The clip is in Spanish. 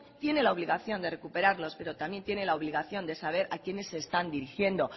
tiene la obligación de recuperarlos pero también tiene la obligación de saber a quiénes se están dirigiendo